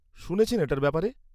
-শুনেছেন এটার ব্যাপারে?